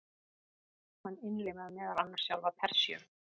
Hann innlimaði meðal annars sjálfa Persíu.